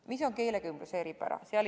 Mis on keelekümbluse eripärad?